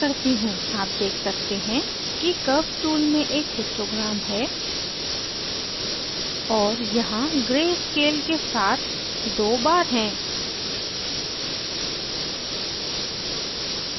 आप देख सकते हैं कि curves tool में एक histogram है और यहाँ gray scale के साथ 2 bars हैं